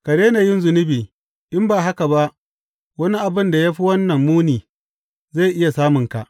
Ka daina yin zunubi, in ba haka ba wani abin da ya fi wannan muni zai iya samunka.